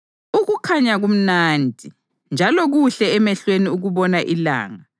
Ukukhanya kumnandi, njalo kuhle emehlweni ukubona ilanga.